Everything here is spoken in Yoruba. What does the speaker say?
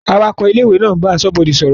Awakọ̀ ilé-ìwé ń bá aṣọ́bodè sọ̀rọ̀.